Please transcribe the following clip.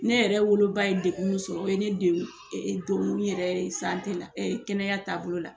Ne yɛrɛ woloba ye degun min sɔrɔ o ye ne don donkun yɛrɛ ye la kɛnɛyatabolo la.